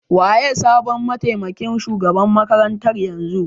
Waye sabon matemakin shugaban makarantar yanzu?